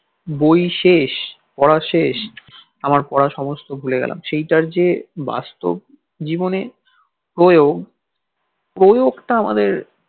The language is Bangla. বই শেষ পড়া শেষ আমার পড়া সমস্ত ভুলে গেলাম সেইটার যে বাস্তব জীবনে প্রয়োগ প্রয়োগটা আমাদের